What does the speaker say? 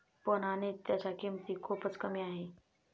पण, आणि त्यांच्या किंमती खूपच कमी आहे.